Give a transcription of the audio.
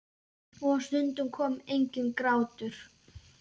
Og stundum kom enginn grátur.